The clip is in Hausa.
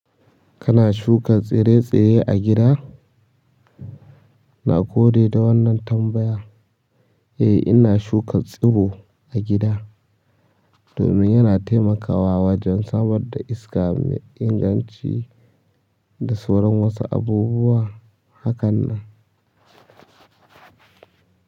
Kana shuka tsire-tsire a gida? Na gode da wannan tambaya. Eh ina shuka tsuro a gida. Domin yana taimakawa wajen samar da iska mai inganci da sauran wasu abubuwa hakanan.